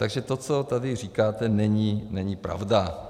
Takže to, co tady říkáte, není pravda.